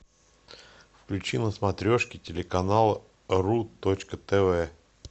включи на смотрешке телеканал ру точка тв